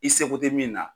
I seko tɛ min na